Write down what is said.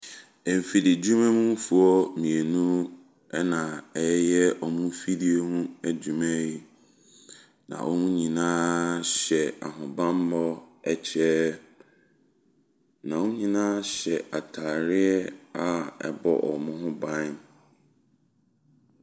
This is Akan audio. Emfidie dwumamufoɔ mmienu na wɔreyɛ wɔn mfidie nso ho adwuma yi. Na wɔn nyinaa hyɛ ahobanmmɔ ɛkyɛ. Na wɔn nyinaa hyɛ ataareɛ a ɛbɔ wɔn ho ban.